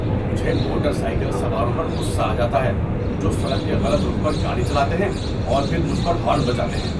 مجھے motorcycle سواروں پر غصّہ آ جاتا ہے جو سڑک کے غلط رخ پر گاڑی چلاتے ہیں اور پھر مجھ پر ہارن بجاتے ہیں۔